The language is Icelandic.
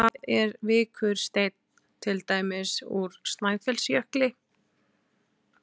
Hvað er vikursteinn, til dæmis úr Snæfellsjökli?